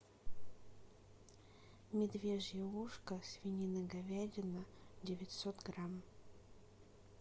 медвежье ушко свинина говядина девятьсот грамм